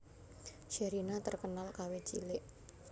Sherina terkenal kawit cilik